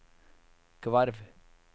Gvarv